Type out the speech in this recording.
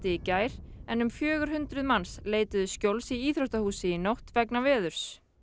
í gær en um fjögur hundruð manns leituðu skjóls í íþróttahúsi í nótt vegna veðurs